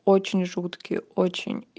очень жуткий очень